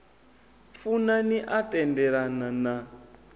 funa ni a tendelana na